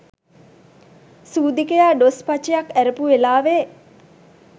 සුදීකයා ඩොස් පචයක් ඇරපු වෙලාවෙ